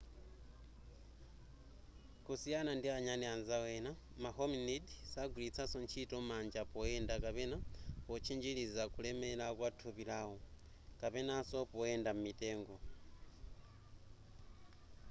kusiyana ndi anyani anzawo ena ma hominid sagwilitsanso ntchito manja poyenda kapena potchinjiliza kulemela kwa nthupi lawo kapenanso poyenda m'mitengo